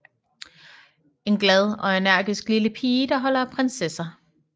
En glad og energisk lille pige der holder af prinsesser